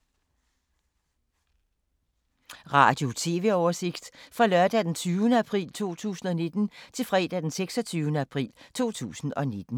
Radio/TV oversigt fra lørdag d. 20. april 2019 til fredag d. 26. april 2019